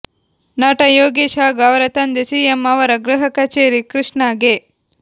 ನಟ ಯೋಗೀಶ್ ಹಾಗೂ ಅವರ ತಂದೆ ಸಿಎಂ ಅವರ ಗೃಹ ಕಚೇರಿ ಕೃಷ್ಣಾಗೆ